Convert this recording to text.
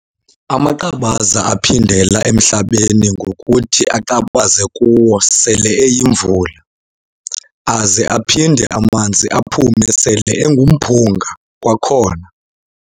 Amaqabaza aphindela emhlabeni ngokuthi aqabaze kuwo sele eyimvula, aze aphinde amanzi aphume sele engumphunga kwakhona.